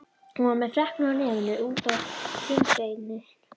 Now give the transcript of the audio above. Hún var með freknur á nefinu og út á kinnbeinin.